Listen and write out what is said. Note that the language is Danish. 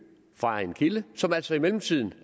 fra en kilde som altså i mellemtiden